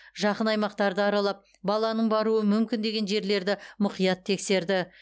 жақын аймақтарды аралап баланың баруы мүмкін деген жерлерді мұқият тексерді